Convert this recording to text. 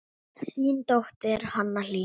Þín dóttir, Hanna Hlín.